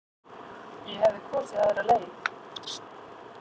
Ég hefði kosið aðra leið.